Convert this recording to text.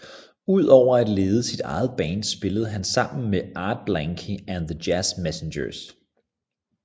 Ud over at lede sit eget band spillede han sammen med Art Blakey and the Jazz Messengers